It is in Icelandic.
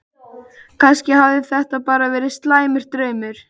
Kannski hafði þetta bara verið slæmur draumur.